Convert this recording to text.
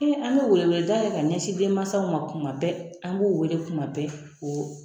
Ee an ka weleweleda kɛ ka ɲɛsin denmansaw ma kuma bɛɛ an b'u wele kuma bɛɛ o